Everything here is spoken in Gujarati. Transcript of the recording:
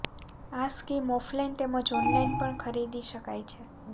આ સ્કીમ ઓફલાઇન તેમજ ઓનલાઇન પણ ખરીદી શકાય છે